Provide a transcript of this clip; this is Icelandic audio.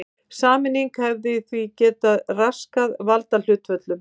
Sameining hefði því getað raskað valdahlutföllum.